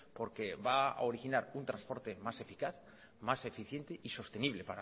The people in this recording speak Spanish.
porque va a originar un transporte más eficaz más eficiente y sostenible